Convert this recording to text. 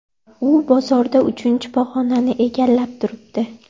U bozorda uchinchi pog‘onani egallab turibdi.